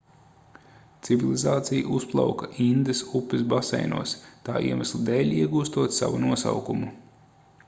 civilizācija uzplauka indas upes baseinos tā iemesla dēļ iegūstot savu nosaukumu